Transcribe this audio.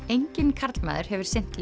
enginn karlmaður hefur sinnt